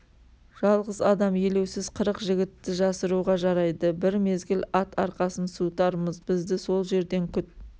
жалғыз адам елеусіз қырық жігітті жасыруға жарайды бір мезгіл ат арқасын суытармыз бізді сол жерден күт